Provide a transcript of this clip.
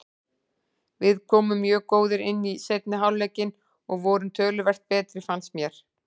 Við komum mjög góðir inn í seinni hálfleikinn og vorum töluvert betri fannst mér.